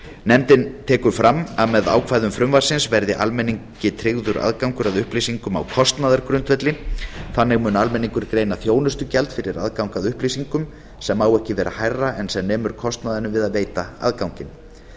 nefndin tekur fram að með ákvæðum frumvarpsins verði almenningi tryggður aðgangur að upplýsingum á kostnaðargrundvelli þannig mun almenningur greiða þjónustugjald fyrir aðgang að upplýsingum sem má ekki vera hærra en sem nemur kostnaðinum við að veita aðganginn